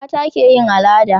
mata ke yin al'ada